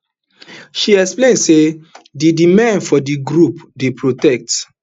she explain say di di men for di group dey protect